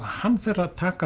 hann fer að taka